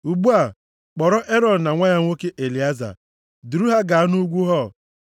Ugbu a, kpọrọ Erọn na nwa ya nwoke Elieza, duru ha gaa nʼugwu Hor.